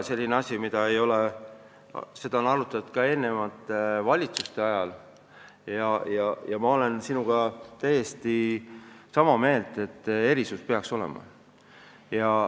Seda on arutatud ka eelmiste valitsuste ajal ja ma olen sinuga täiesti sama meelt, et erisus peaks olema.